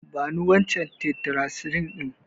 Bani wancan tetracycline ɗin.